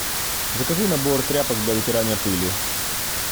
закажи набор тряпок для вытирания пыли